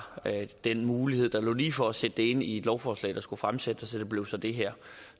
den mulighed der lå lige for at sætte det ind i et lovforslag der skulle fremsættes og det blev så det her